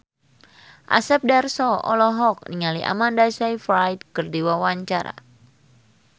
Asep Darso olohok ningali Amanda Sayfried keur diwawancara